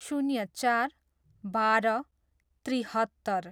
शून्य चार, बाह्र, त्रिहत्तर